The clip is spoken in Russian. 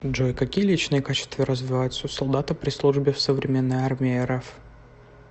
джой какие личные качества развиваются у солдата при службе в современной армии рф